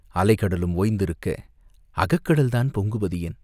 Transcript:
"அலை கடலும் ஓய்ந்திருக்க அகக்கடல்தான் பொங்குவதேன்?..